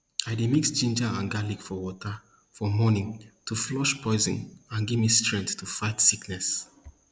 i dey mix ginger and garlic for water for morning to flush poison and give me strength to fight sickness